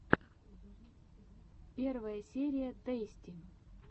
первая серия тэйсти